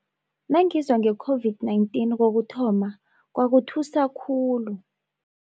Nangizwa nge-COVID-19 kokuthoma kwakuthusa khulu.